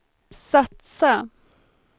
satsa